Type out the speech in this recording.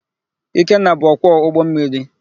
Ikenna bụ ọkwọ ụgbọmmiri.